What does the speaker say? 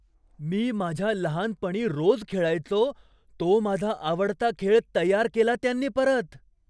मी माझ्या लहानपणी रोज खेळायचो तो माझा आवडता खेळ तयार केला त्यांनी परत!